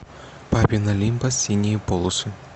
папин олимпос синие полосы